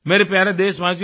मेरे प्यारे देशवासियो